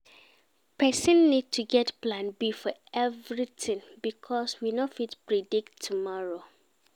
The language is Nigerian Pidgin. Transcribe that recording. Person need to get plan B for everything because we no fit predict tomorrow